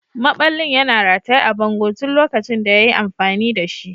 Maɓallin yana rataye a bango tun lokacin da ya yi amfani da shi.